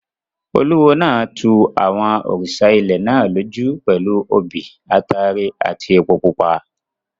Olúwo náà tu àwọn òrìṣà ilẹ̀ náà lójú pẹ̀lú obì, ataare àti epo pupa.